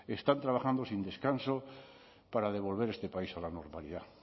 están trabajando sin descanso para devolver este país a la normalidad